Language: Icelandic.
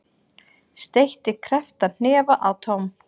Steytti krepptan hnefa að Tom.